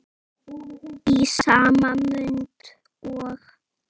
Í sama mund og